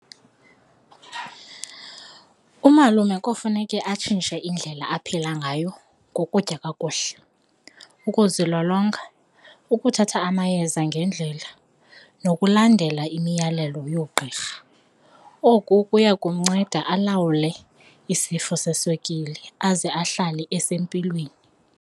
Umalume kofuneke atshintshe indlela aphila ngayo ngokutya kakuhle, ukuzilolonga ukuthatha amayeza ngendlela nokulandela imiyalelo yoogqirha, oku kuya kumnceda alawule isifo seswekile aze ahlale esempilweni.